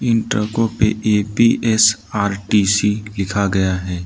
इन ट्रकों पर ए_पी_एस_आर_टी_सी लिखा गया है।